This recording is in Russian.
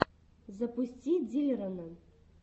запусти диллерона